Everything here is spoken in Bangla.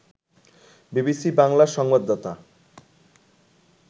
বিবিসি বাংলার সংবাদদাতা